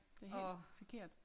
Det helt forkert